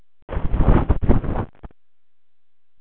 Er þetta ekki frekar lítið svona miðað við verslunarmannahelgi hér?